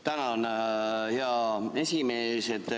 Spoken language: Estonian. Tänan, hea esimees!